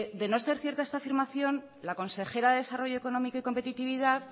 de no ser cierta esta afirmación la consejera de desarrollo económico y competitividad